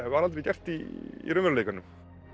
var aldrei gert í raunveruleikanum